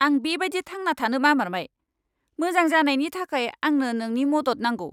आं बेबायदि थांना थानो बामारबाय! मोजां जानायनि थाखाय आंनो नोंनि मदद नांगौ।